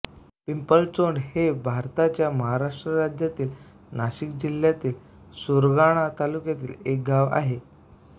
पिंपळचोंड हे भारताच्या महाराष्ट्र राज्यातील नाशिक जिल्ह्यातील सुरगाणा तालुक्यातील एक गाव आहे